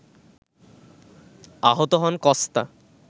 আহত হন কস্তা